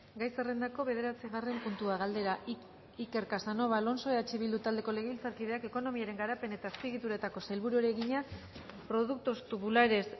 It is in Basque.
gai zerrendako bederatzigarren puntua galdera iker casanova alonso eh bildu taldeko legebiltzarkideak ekonomiaren garapen eta azpiegituretako sailburuari egina productos tubulares